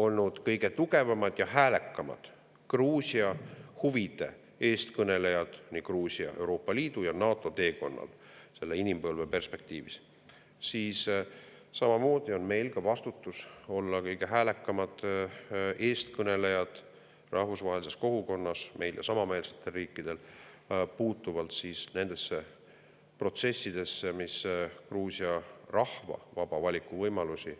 … olnud kõige tugevamad ja häälekamad Gruusia huvide eestkõnelejad Gruusia teekonnal Euroopa Liitu ja NATO-sse selle inimpõlve perspektiivis, on meil ka vastutus olla kõige häälekamad eestkõnelejad rahvusvahelises kogukonnas – meil ja samameelsetel riikidel – puutuvalt nendesse protsessidesse, mis on Gruusia rahva vaba valiku võimalused